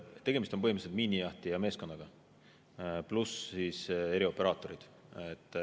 Tegemist on põhimõtteliselt miinijahtija meeskonnaga, pluss erioperaatorid.